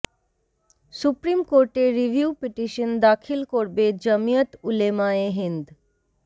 supreme কোর্টে review petition দাখিল করবে জমিয়ত উলেমায়ে হিন্দ